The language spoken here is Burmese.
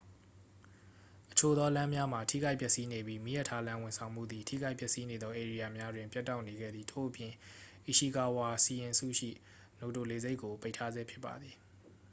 အချို့သောလမ်းများမှာ ထိခိုက်ပျက်စီးနေပြီး မီးရထားလမ်းဝန်ဆောင်မှုသည် ထိခိုက်ပျက်စီးနေသောဧရိယာများတွင် ပြတ်တောက်နေခဲ့သည် ထို့အပြင် အီရှီကာဝါ စီရင်စုရှိ နိုတို လေဆိပ်ကို ပိတ်ထားဆဲဖြစ်ပါသည်